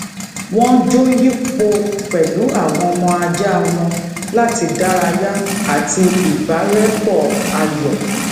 wón jó yipo pèlú awon ọmọ aja wọn lati daraya ati ibarepo ayò